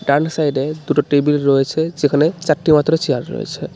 ডান সাইডে দুটো টেবিল রয়েছে যেখানে চারটে মাত্র চেয়ার রয়েছে.